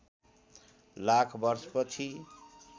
लाख वर्ष पछि